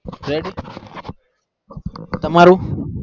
ready તમારું